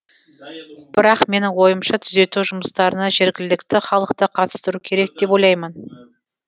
бірақ менің ойымша түзету жұмыстарына жергілікті халықты қатыстыру керек деп ойлаймын